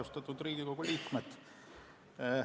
Austatud Riigikogu liikmed!